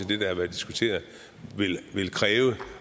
det der har været diskuteret vil kræve